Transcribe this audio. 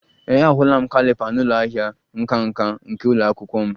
Ee, ahụla m caliper n'ụlọ ahịa nka nka nke ụlọ akwụkwọ m